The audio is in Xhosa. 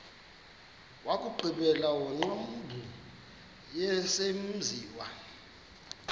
wokugqibela wengcambu yesenziwa